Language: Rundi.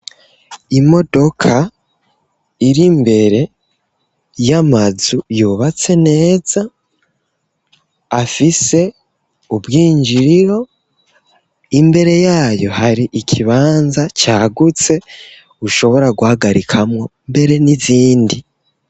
Imodoka ir'imbere y'amazu yubatse neza afise ubwinjiriro, imbere yayo hari ikibanza cagutse ushobora guhagarikamwo mbere n'izindi.